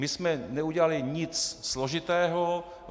My jsme neudělali nic složitého.